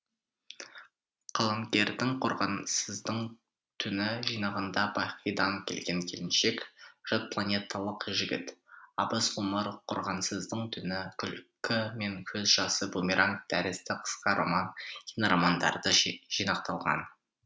қаламгердің қорғансыздың түні жинағында бақидан келген келіншек жатпланеталық жігіт абыз ғұмыр қорғансыздың түні күлкі мен көз жасы бумеранг тәрізді қысқа роман киноромандары жинақталған